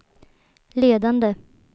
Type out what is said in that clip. ledande